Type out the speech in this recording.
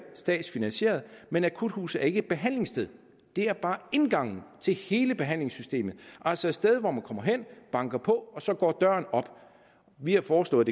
statsfinansierede men et akuthus er ikke et behandlingssted det er bare indgangen til hele behandlingssystemet altså et sted hvor man kommer hen banker på og så går døren op vi har foreslået